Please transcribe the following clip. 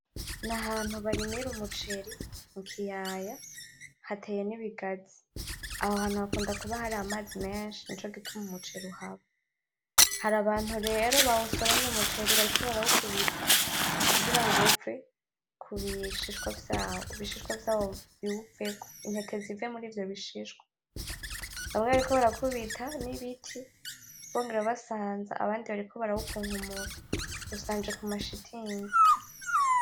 Nahantu barimira umuceri mukiyaya hateye nibigazi, aho hantu hakunda kuba hari amazi menshi nico gituma umuceri uhaba, hari abantu rero bawusoromye umuceri bariko barawukubita kugirango uve kubishishwa vyawo, ibishishwa vyawo biwuveko ,intete zive murivyo bishishwa, baka bariko barakubita nibiti, bongera basanza abandi bariko barawukunkumura ushanje kumashitingi.